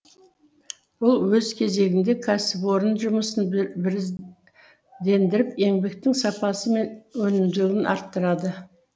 бұл өз кезегінде кәсіпорын жұмысын біріздендіріп еңбектің сапасы мен өнімділігін арттырады